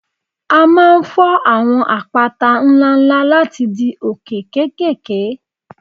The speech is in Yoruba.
A máa ń fọ́ àwọn àpáta ńlá ńlá láti di òkè kéékèèké